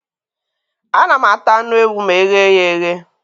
Ana m ata anụ ewu ma eghe ya eghe